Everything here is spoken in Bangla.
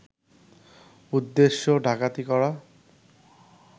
উদ্দেশ্য ডাকাতি করা